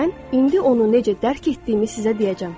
Mən indi onu necə dərk etdiyimi sizə deyəcəm.